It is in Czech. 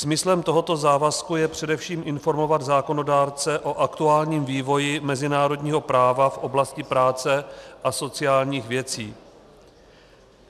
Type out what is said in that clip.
Smyslem tohoto závazku je především informovat zákonodárce o aktuálním vývoji mezinárodního práva v oblasti práce a sociálních věcí.